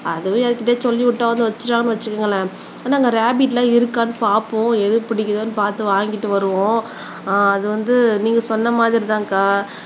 அதுவே யார்கிட்டயாவது சொல்லி விட்டாவது வச்சிட்டோம்னு வச்சுக்கோங்களேன் ஆனா ரேபிட் எல்லாம் இருக்கான்னு பாப்போம் எது பிடிக்குதுன்னு பாத்து வாங்கிட்டு வருவோம் அது வந்து நீங்க சொன்ன மாதிரி தான்க்கா